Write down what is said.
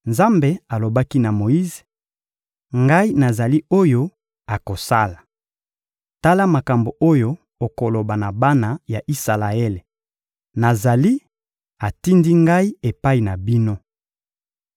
Nzambe alobaki na Moyize: — Ngai nazali oyo akosala. Tala makambo oyo okoloba na bana ya Isalaele: «Nazali atindi ngai epai na bino.»